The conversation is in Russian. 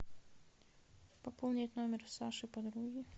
пополнить номер саши подруги